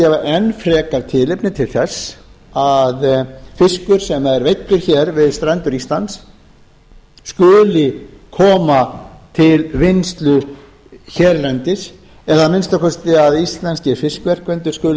gefa enn frekar tilefni til þess að fiskur sem er veiddur hér við strendur íslands skuli koma til vinnslu hérlendis eða að minnsta kosti að íslenskir fiskverkendur skuli